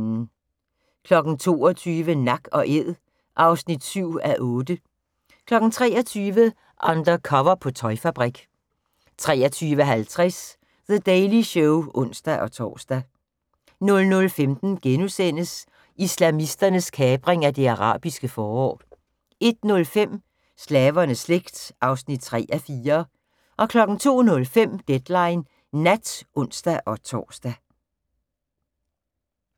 22:00: Nak & æd (7:8) 23:00: Undercover på tøjfabrik 23:50: The Daily Show (ons-tor) 00:15: Islamisternes kapring af det arabiske forår * 01:05: Slavernes slægt (3:4) 02:05: Deadline Nat (ons-tor)